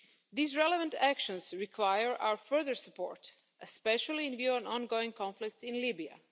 These relevant actions require our further support, especially in view of ongoing conflicts in Libya.